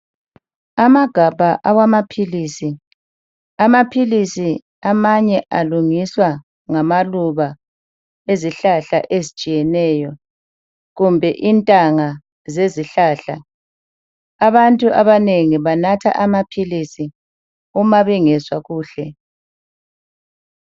Amagabha awamaphilisi. Amaphilisi amanye alungiswa ngamaluba ezihlahla ezitshiyeneyo, kumbe intanga ezihlahla. Abantu abanengi banatha amaphilisi uma bengezwa kuhle.